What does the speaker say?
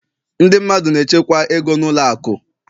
ndị mmadụ na-echekwa ego na ụlọ akụ